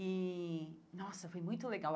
E, nossa, foi muito legal.